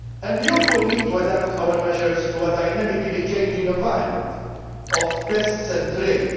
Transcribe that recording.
conditions. We also need to adapt our measures to a dynamically changing environment of pests